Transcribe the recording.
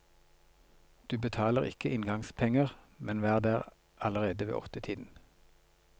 Du betaler ikke inngangspenger, men vær der allerede ved åttetiden.